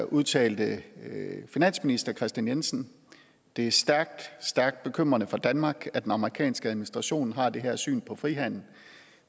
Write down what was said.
udtalte finansminister kristian jensen det er stærkt stærkt bekymrende for danmark at den amerikanske administration har det her syn på frihandel